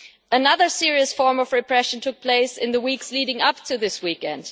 Another serious form of repression took place in the weeks leading up to this weekend.